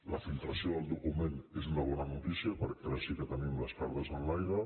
la filtració del document és una bona notícia perquè ara sí que tenim les cartes enlaire